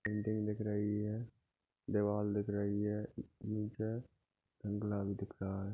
Building दिख रही है दीवाल दिख रही है लाल दिख रहा है।